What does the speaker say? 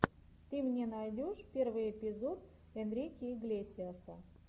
ты мне найдешь первый эпизод энрике иглесиаса